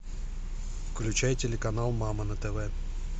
включай телеканал мама на тв